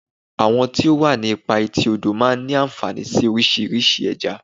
Àwọn tó wà ní ipa etí odò máa ń ní ànfàní sí oríṣiríṣi Ẹja.